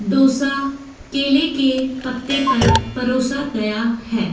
डोसा केले के पत्ते पर परोसा गया है।